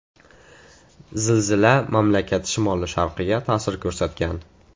Zilzila mamlakat shimoli-sharqiga ta’sir ko‘rsatgan.